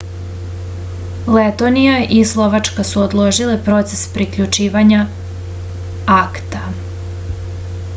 letonija i slovačka su odložile proces priključivanja acta